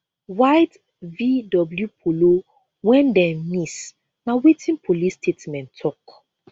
white vw polo wen dem miss na wetin police statement tok